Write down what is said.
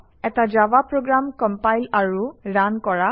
এটা Java program compile আৰু run কৰা